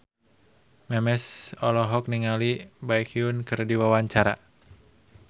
Memes olohok ningali Baekhyun keur diwawancara